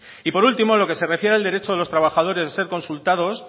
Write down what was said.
y por último en lo que se refiere al derecho de los trabajadores de ser consultados